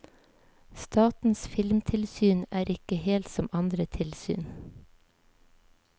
Statens filmtilsyn er ikke helt som andre tilsyn.